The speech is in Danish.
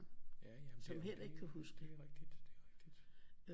Ja ja men det er rigtigt det er rigtigt det er rigtigt